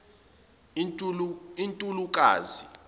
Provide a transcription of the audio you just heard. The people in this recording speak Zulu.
untulukazi